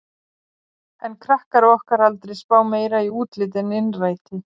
En krakkar á okkar aldri spá meira í útlit en innræti.